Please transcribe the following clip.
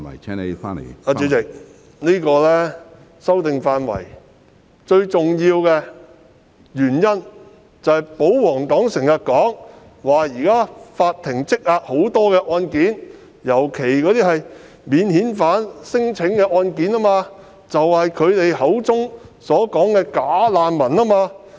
主席，作出是次法例修訂的最重要原因，是正如保皇黨經常指出，法庭現時積壓大量案件，尤其是免遣返聲請個案，亦即涉及他們口中所謂的"假難民"。